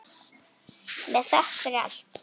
Með þökk fyrir allt.